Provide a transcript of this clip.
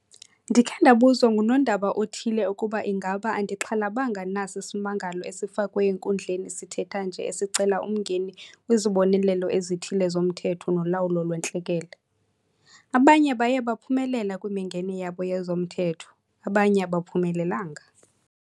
Ndikhe ndabuzwa ngunondaba othile ukuba ingaba andixhalabanga na sisimangalo esifakwe enkundleni sithetha nje esicela umngeni kwizibonelelo ezithile zoMthetho woLawulo lweNtlekele. Abanye baye baphumelela kwimingeni yabo yezomthetho abanye abaphumelelanga.